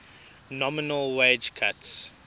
nominal wage cuts